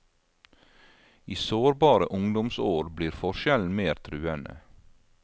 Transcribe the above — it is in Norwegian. I sårbare ungdomsår blir forskjellen mer truende.